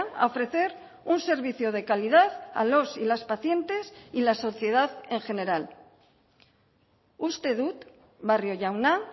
a ofrecer un servicio de calidad a los y las pacientes y la sociedad en general uste dut barrio jauna